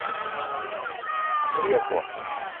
греко